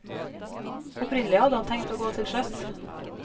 Opprinnelig hadde han tenkt å gå til sjøs.